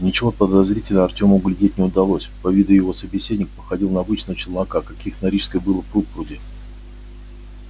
ничего подозрительного артему углядеть не удалось по виду его собеседник походил на обычного челнока каких на рижской было пруд пруди